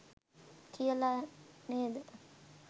කියලා නේද?